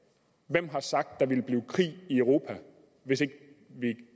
hvem har sagt der ville blive krig i europa hvis ikke vi